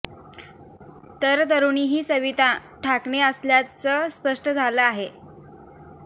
तर तरुणी ही सविता ढाकणे असल्याचं स्पष्ट झालं आहे